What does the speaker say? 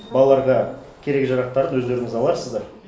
балаларға керек жарақтарын өздеріңіз аларсыздар